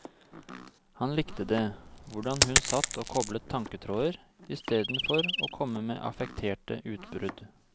Han likte det, hvordan hun satt og koblet tanketråder, istedenfor å komme med affekterte utbrudd.